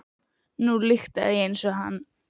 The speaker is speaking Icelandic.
Nú lyktaði ég eins og hann.